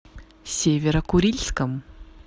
северо курильском